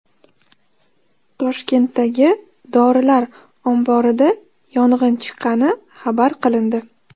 Toshkentdagi dorilar omborida yong‘in chiqqani xabar qilindi.